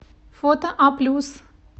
фото а плюс